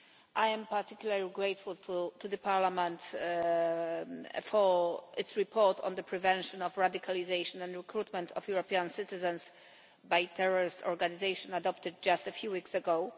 I am particularly grateful to Parliament for its report on the prevention of radicalisation and recruitment of European citizens by terrorist organisations, adopted just a few weeks ago.